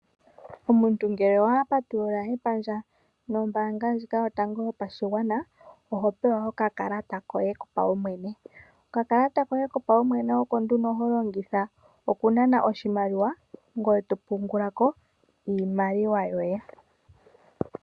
Omuntu ngele wa patulula epandja lyoye nombaanga ndjika yotango yopashigwana oho pewa okakalata koye kopaumwene hoka ho longitha okunana oshimaliwa nokupungulako iimaliwa yoye.